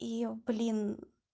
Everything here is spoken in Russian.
и блин